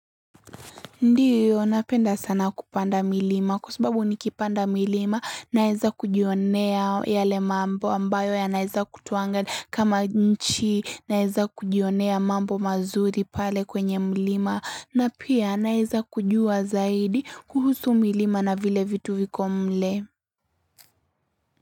Ndiyo napenda sana kupanda milima kwa sababu nikipanda milima naize kujionea yale mambo ambayo yanaeza kutoa anga kama nchi naeza kujionea mambo mazuri pale kwenye milima na pia naeza kujua zaidi kuhusu milima na vile vitu viko mle.